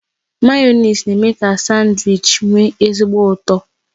Mayonezi na eme ka sandwichi nwe ezigbo ụtọ